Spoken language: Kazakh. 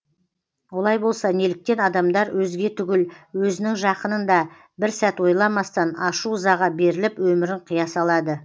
олай болса неліктен адамдар өзге түгіл өзінің жақынын да бір сәт ойламастан ашу ызаға беріліп өмірін қия салады